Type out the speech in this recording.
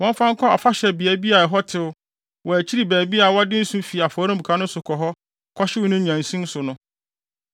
wɔmfa nkɔ afahyɛbea bi a ɛhɔ tew wɔ akyiri baabi a wɔde nsõ fi afɔremuka no so kɔ hɔ kɔhyew no nnyansin so no.